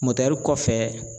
kɔfɛ.